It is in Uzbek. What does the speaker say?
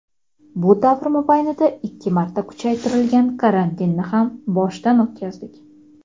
Bu davr mobaynida ikki marta kuchaytirilgan karantinni ham boshdan o‘tkazdik.